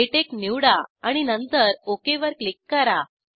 LaTeX निवडा आणि नंतर ओक वर क्लिक करा